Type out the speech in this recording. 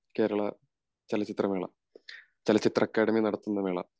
കേരളാ ചലച്ചിത്ര മേള ചലച്ചിത്ര അക്കാദമി നടത്തുന്ന മേള